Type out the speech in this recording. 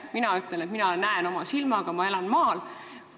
Mina ütlen, et mina näen seda oma silmaga, ma elan maal.